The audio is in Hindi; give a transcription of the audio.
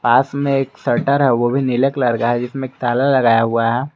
पास में एक शटर है वो भी नीले कलर का है जिसमे एक ताला लगाया हुआ है।